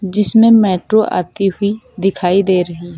जिसमें मेट्रो आती हुई दिखाई दे रही है।